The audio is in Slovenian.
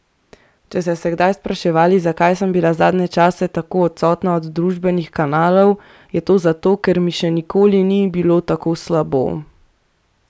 Če ste se spraševali, zakaj sem bila zadnje čase tako odsotna od družbenih kanalov, je to zato, ker mi še nikoli ni bilo tako slabo!